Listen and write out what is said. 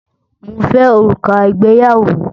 Mo fẹ orúkà ìgbéyàwó.